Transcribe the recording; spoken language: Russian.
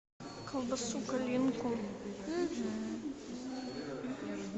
колбасу калинку